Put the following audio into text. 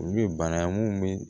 Olu ye bana ye mun bɛ